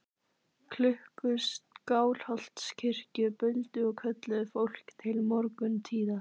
Klukkur Skálholtskirkju buldu og kölluðu fólk til morguntíða.